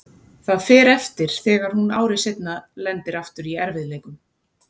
Það fer eftir þegar hún ári seinna lendir aftur í erfiðleikum.